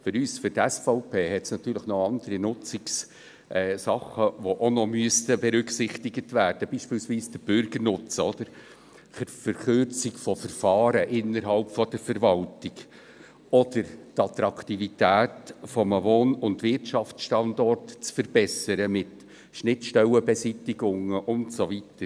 Für die SVP hat es natürlich auch noch andere Nutzungssachen, die auch noch berücksichtigt werden müssten, beispielsweise der Bürgernutzen: die Verkürzung von Verfahren innerhalb der Verwaltung oder dass man die Attraktivität eines Wohn- und Wirtschaftsstandorts mit Schnittstellenbeseitigungen verbessert und so weiter.